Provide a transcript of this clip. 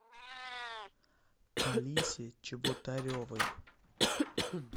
алисе чеботаревой